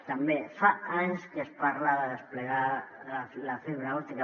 també fa anys que es parla de desplegar la fibra òptica